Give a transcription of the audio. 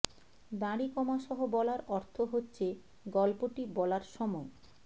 দাড়ি কমা সহ বলার অর্থ হচ্ছে গল্পটি বলার সময়